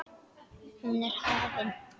Hún er hafin.